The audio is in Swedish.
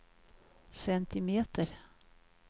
centimeter